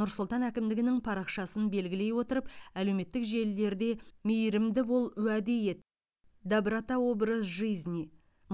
нұр сұлтан әкімдігінің парақшасын белгілей отырып әлеуметтік желілерде мейірімдіболуәдеет добротаобразжизни